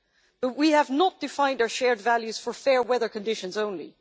but we have not defined our shared values for fair weather conditions only.